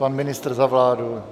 Pan ministr za vládu?